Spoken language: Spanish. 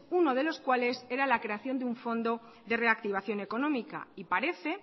uno de los cuales era la creación de un fondo de reactivación económica y parece